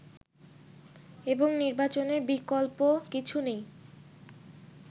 এবং নির্বাচনের বিকল্প কিছু নেই